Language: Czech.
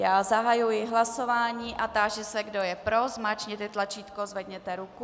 Já zahajuji hlasování a táži se, kdo je pro, zmáčkněte tlačítko, zvedněte ruku.